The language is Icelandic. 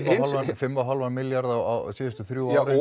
fimm og hálfan milljarð síðustu þrjú árin